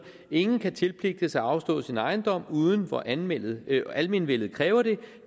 ingen kan tilpligtes at afstå sin ejendom uden hvor almenvellet almenvellet kræver det